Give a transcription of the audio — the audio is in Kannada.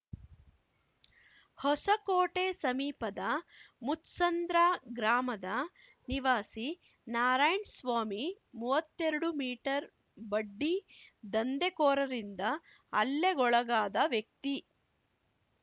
ಹೊಸಕೋಟೆ ಸಮೀಪದ ಮುತ್ಸಂದ್ರ ಗ್ರಾಮದ ನಿವಾಸಿ ನಾರಾಯಣ್ ಸ್ವಾಮಿಮೂವತ್ತೆರಡು ಮೀಟರ್‌ ಬಡ್ಡಿ ದಂಧೆಕೋರರಿಂದ ಹಲ್ಲೆಗೊಳಗಾದ ವ್ಯಕ್ತಿ